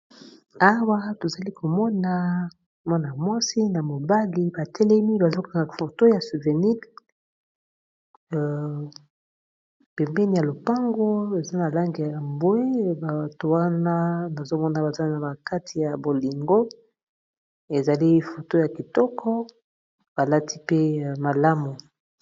awa tozali komona mwana mwasi na mobali batelemi bazokanga foto ya souvenir pempeni ya lopango eza na langi ya bwe bato wana nazomona bazali na kati ya bolingo ezali foto ya kitoko balati pe malamu.